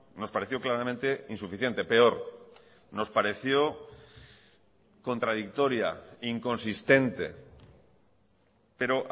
nos pareció claramente insuficiente peor nos pareció contradictoria inconsistente pero